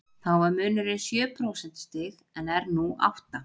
Þá var munurinn sjö prósentustig en er nú átta.